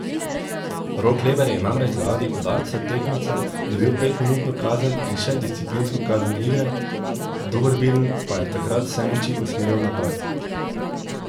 Rok Leber je namreč zaradi udarca tekmeca dobil petminutno kazen in še disciplinsko kazen igre, Dornbirn pa je takrat vse moči usmeril v napad.